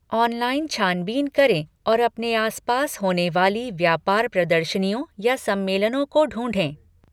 Online छानबीन करें और अपने आसपास होने वाली व्यापार प्रदर्शनियों या सम्मेलनों को ढूंढें।